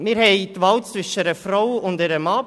Wir haben die Wahl zwischen einer Frau und einem Mann.